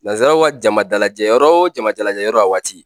Nazaraw ka jama dalajɛyɔrɔ o jama dalajɛyɔrɔ a waati